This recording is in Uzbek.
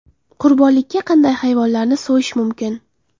Qurbonlikka qanday hayvonlarni so‘yish mumkin?.